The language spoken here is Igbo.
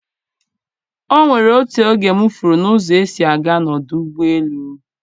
O nwere otu oge m furu ụzọ esi a ga n'ọdụ ụgbọ elu.